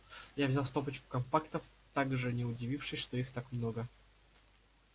я взял стопочку компактов также не удивившись что их так много